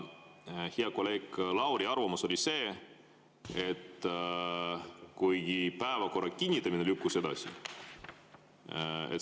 Hea kolleegi Lauri arvamus oli see, et päevakorra kinnitamine lükkus edasi.